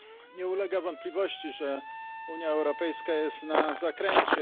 Nie ulega wątpliwości, że Unia Europejska jest na zakręcie.